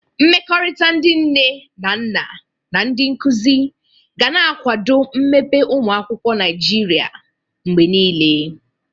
Mmekọrịta ndị nne na nna na ndị nkuzi ga na-akwado mmepe ụmụ akwụkwọ Naịjiria mgbe niile.